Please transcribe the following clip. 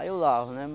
Aí eu lavo, né?